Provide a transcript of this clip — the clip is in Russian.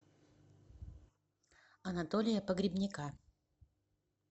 анатолия погребняка